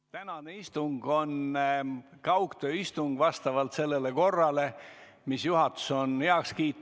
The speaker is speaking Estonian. Tänane istung on kaugtööistung vastavalt sellele korrale, mille juhatus on heaks kiitnud.